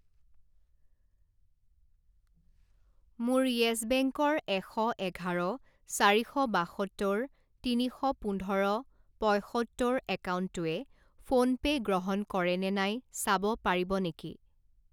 মোৰ Yes Bank ৰ এশ এঘাৰ চাৰি শ বাসত্তৰ তিনি শ পোন্ধৰ পঁইসত্তৰ একাউণ্টটোৱে ফোনপে' গ্ৰহণ কৰে নে নাই চাব পাৰিব নেকি?